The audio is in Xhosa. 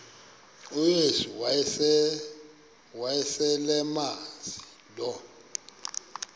uyesu wayeselemazi lo